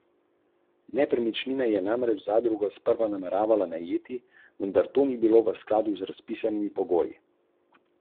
Kljub temu, da je v levi sredini prisotna kriza vodenja in da je slabo izpeljala volilno kampanjo, se je znašla v položaju, da bo Slovenijo vodila še štiri leta.